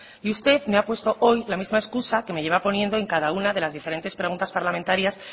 y usted me ha puesto hoy la misma excusa que me lleva poniendo en cada una de las diferentes preguntas parlamentarias